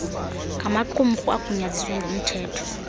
ngamaqumrhu agunyaziswe ngumthetho